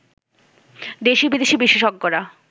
দেশি-বিদেশি বিশেষজ্ঞরা